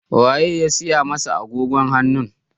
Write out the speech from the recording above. Wa ye ya saya masa agogon hannun?